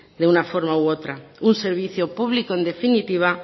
de una forma u otra un servicio público en definitiva